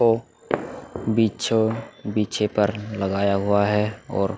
हो बीचो-बीचो पर लगाया हुआ है और --